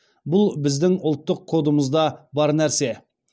бұл біздің ұлттық кодымызда бар нәрсе